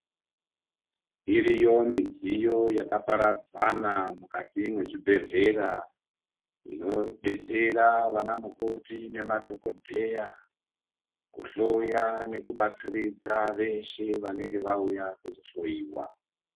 Iriyo midziyo yakaparadzana mukati mwezvibhedhlera inodetsera vanamukoti nemadhokodheya kuhloya nekubatsiridza veshe vanenge vauya kuzohloyiwa.